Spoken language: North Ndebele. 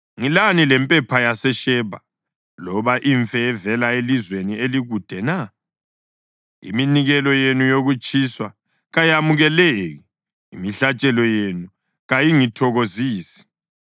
Ngilani lempepha yaseShebha loba imfe evela elizweni elikude na? Iminikelo yenu yokutshiswa kayamukeleki, imihlatshelo yenu kayingithokozisi.”